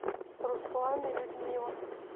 руслан и людмила